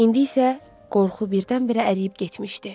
İndi isə qorxu birdən-birə əriyib getmişdi.